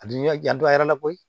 A bi ka jan don a yɛrɛ la koyi